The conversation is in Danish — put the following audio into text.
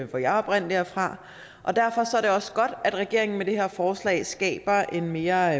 hvor jeg oprindelig er fra og derfor er det også godt at regeringen med det her forslag skaber en mere